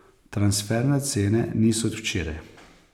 Transferne cene niso od včeraj.